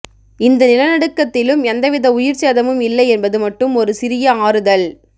இந்த நிலநடுக்கத்திலும் எந்தவித உயிர்ச்சேதமும் இல்லை என்பது மட்டும் ஒரு சிறிய ஆறுதல்